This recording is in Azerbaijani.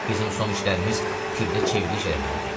Bizim son işlərimiz tibbdə çevriliş eləməlidir.